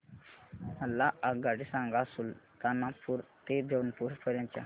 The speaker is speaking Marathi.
मला आगगाडी सांगा सुलतानपूर ते जौनपुर पर्यंत च्या